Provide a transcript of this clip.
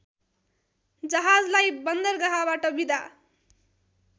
जहाजलाई बन्दरगाहबाट बिदा